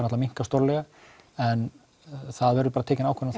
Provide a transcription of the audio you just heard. minnkar stórlega en það verður bara tekin ákvörðun